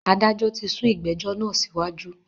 Adájọ tí sún ìgbẹ̀jọ́ náà síwájú.